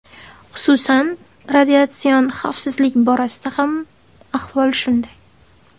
Xususan, radiatsion xavfsizlik borasida ham ahvol shunday.